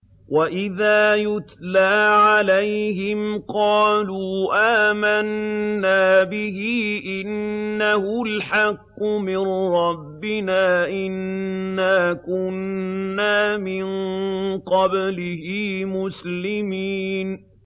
وَإِذَا يُتْلَىٰ عَلَيْهِمْ قَالُوا آمَنَّا بِهِ إِنَّهُ الْحَقُّ مِن رَّبِّنَا إِنَّا كُنَّا مِن قَبْلِهِ مُسْلِمِينَ